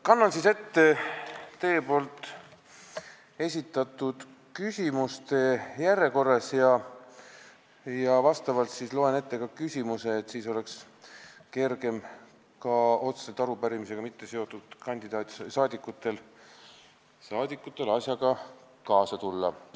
Kannan vastuse ette teie esitatud küsimuste järjekorras ja loen ette ka küsimused, et ka otseselt arupärimisega mitteseotud saadikutel oleks kergem asjaga kaasa tulla.